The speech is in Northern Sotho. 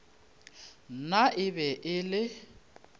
nna e be e le